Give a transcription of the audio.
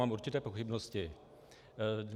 Mám určité pochybnosti.